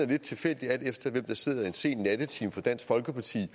lidt tilfældigt alt efter hvem der sidder en sen nattetime for dansk folkeparti